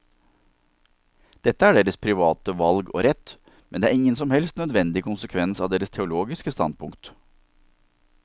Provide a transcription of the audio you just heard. Dette er deres private valg og deres rett, men det er ingen som helst nødvendig konsekvens av deres teologiske standpunkt.